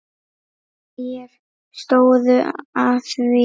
Hverjir stóðu að því?